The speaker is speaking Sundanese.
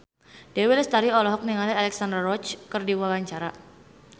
Dewi Lestari olohok ningali Alexandra Roach keur diwawancara